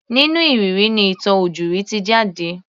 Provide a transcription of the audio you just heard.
Nínú ìrírí ni ìtàn ojúrí ti jáde.